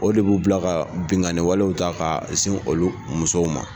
O de b'u bila ka binkanni walew ta ka ɲɛsin musow ma.